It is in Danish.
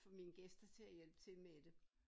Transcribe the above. Få mine gæster til at hjælpe til med det